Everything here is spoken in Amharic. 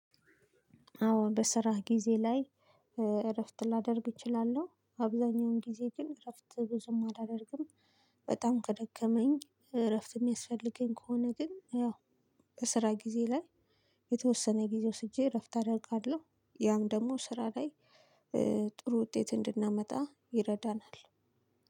አዎ በስራ ጊዜ ላይ እረፍት ላደርግ እችላለሁ። አብዛኛውን ጊዜ ግን እረፍት ብዙም አላደርግም በጣም ከደከመኝ እረፍት የሚያስፈልገኝ ከሆነ ግን ያው በስራ ጊዜ ላይ የተወሰነ ጊዜ ወስጄ እረፍት አደርጋለሁ። ያም ደግሞ ስራ ላይ ጥሩ ውጤት እንድናመጣ ይረዳናል።